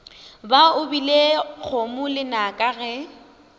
ba opile kgomo lenaka ge